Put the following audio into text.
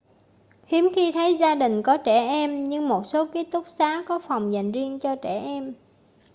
hiếm khi thấy gia đình có trẻ em nhưng một số ký túc xá có phòng dành riêng cho trẻ em